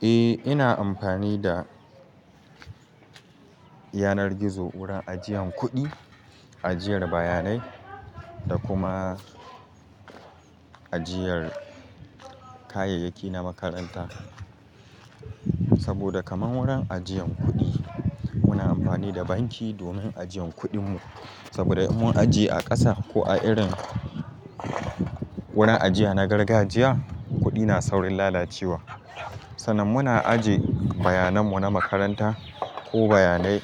Eh, ina amfani da yanar gizo wurin ajiyan kuɗi, ajiyar bayanai da kuma ajiyar kayayyaki na makaranta. Saboda kaman wurin ajiyan kuɗi muna amfani da banki domin ajiyan kuɗin mu. Saboda in mun ajiye a ƙasa ko a irin wurin ajiya na gargajiya, kuɗi na saurin lalacewa. Sannan muna ajiye bayanan mu na makaranta ko bayanai